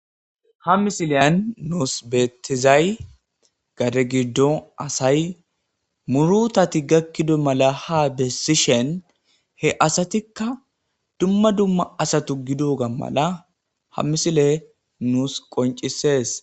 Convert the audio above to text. ha misileyan nuus betizay gadegidon asay murutati gakkido mala ha bessishen he asatikka dumma dumma asatu gidoga mala ha misile nuus qoncisees